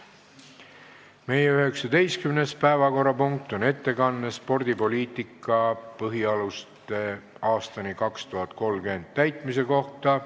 Meie 19. päevakorrapunkt on ettekanne "Spordipoliitika põhialuste aastani 2030" täitmise kohta.